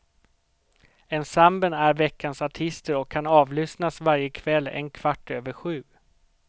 Ensemblen är veckans artister och kan avlyssnas varje kväll en kvart över sju.